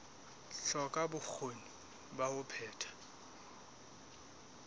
hloka bokgoni ba ho phetha